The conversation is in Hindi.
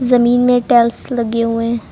जमीन में टाइल्स लगी हुई है।